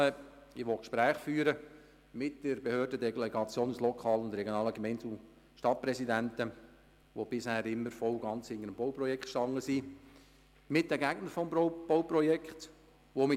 Ich will Gespräche mit Behörden und Delegationen der lokalen und regionalen Gemeinde- und Stadtpräsidenten führen, die bisher immer voll und ganz hinter dem Bauprojekt standen, und mit Befürwortern und Gegnern des Bauprojekts reden.